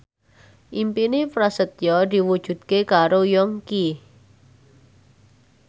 impine Prasetyo diwujudke karo Yongki